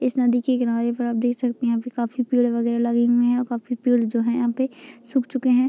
इस नदी के किनारे पर आप देख सकते है यहाँ पर काफी पेड़ वैगेरह लगे हुए हैं और काफी पेड़ जो हैं यहां पे सुख चुके हैं।